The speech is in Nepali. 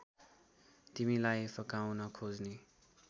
तिमीलाई फकाउन खोज्ने